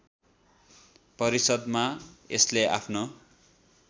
परिषद्‍मा यसले आफ्नो